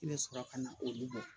I bɛ sɔrɔ ka na olu bɔ